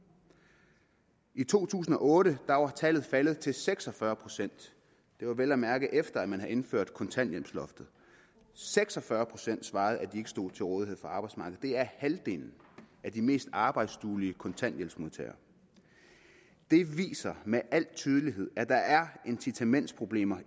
i to tusind og otte var tallet faldet til seks og fyrre procent det var vel at mærke efter at man havde indført kontanthjælpsloftet seks og fyrre procent svarede at de ikke stod til rådighed for arbejdsmarkedet det er halvdelen af de mest arbejdsduelige kontanthjælpsmodtagere det viser med al tydelighed at der er incitamentsproblemer